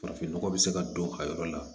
Farafinnɔgɔ bɛ se ka don a yɔrɔ la